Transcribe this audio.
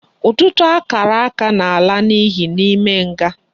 Ututu akaraka na ala na iyi na ime nga